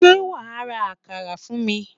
Sé wàá ra àkàrà fún mi?